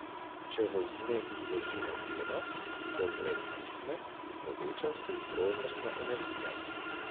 Če v vzmet vložimo delo, se vzmet stisne in poveča se ji prožnostna energija.